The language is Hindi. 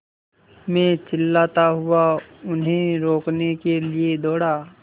मैं चिल्लाता हुआ उन्हें रोकने के लिए दौड़ा